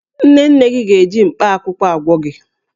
Nne nne m ga-eji mkpaakwụkwọ agwọ gi